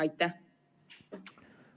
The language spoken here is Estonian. Aitäh!